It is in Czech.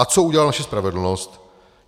A co udělala naše spravedlnost?